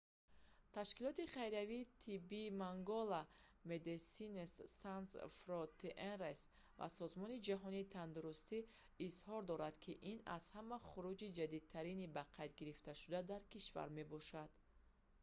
ташкилоти хайриявии тиббии мангола medecines sans frontieres ва созмони ҷаҳонии тандурустӣ изҳор доранд ки ин аз ҳама хурӯҷи ҷиддитарини бақайдгирифташуда дар кишвар мебошад